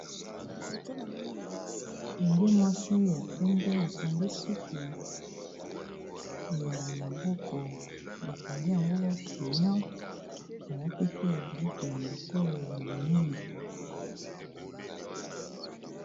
Elenge muasi ya pembe akangi suki ya maboko, bakangi yango chinion alati pe biloko ya matoyi ya minene.